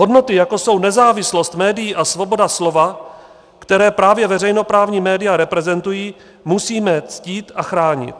Hodnoty, jako jsou nezávislost médií a svoboda slova, které právě veřejnoprávní média reprezentují, musíme ctít a chránit.